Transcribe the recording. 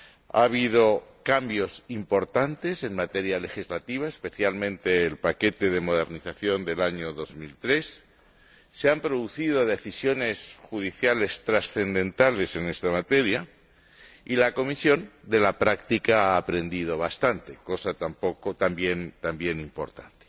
Ha habido cambios importantes en materia legislativa, especialmente el paquete de modernización del año 2003, se han producido decisiones judiciales transcendentales en esta materia y la Comisión ha aprendido bastante de la práctica, aspecto también importante.